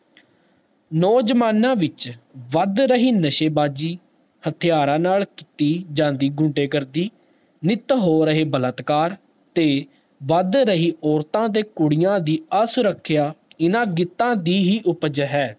ਨੋ ਜਵਾਨਾਂ ਵਿਚ ਵੱਧ ਰਹੀ ਨਸ਼ੇ ਬਾਜੀ ਹਥਿਆਰਾ ਨਾਲ ਕਿਤੀ ਜਾਂਦੀ ਗੁੰਡੇ ਗਰਦੀ ਨਿਤ ਹੋ ਰਹੇ ਬਲਾਤਕਾਰ ਤੇ ਵੱਧ ਰਹੀ ਔਰਤਾਂ ਤੇ ਕੁੜੀਆਂ ਦੀ ਅਸੁਰੱਖਿਆ ਇੰਨਾ ਗੀਤਾ ਦੀ ਹੀ ਉਪਜ ਹੈ